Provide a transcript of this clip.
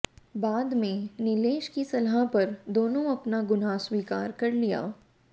बाद में नीलेश की सलाह पर दोनों अपना गुनाह स्वीकार कर लिया